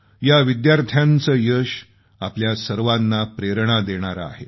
या विद्यार्थ्यांचं यश आपल्या सर्वांना प्रेरणा देणारे आहे